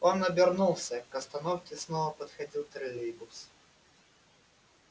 он обернулся к остановке снова подходил троллейбус